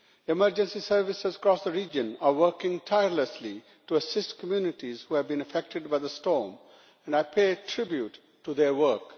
Emergency services across the region are working tirelessly to assist communities who have been affected by the storm, and I pay tribute to their work.